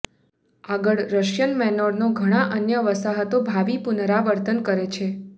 આગળ રશિયન મેનોરનો ઘણા અન્ય વસાહતો ભાવિ પુનરાવર્તન કરે છે